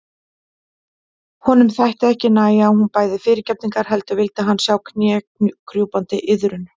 Honum þótti ekki nægja að hún bæði fyrirgefningar heldur vildi hann sjá knékrjúpandi iðrun.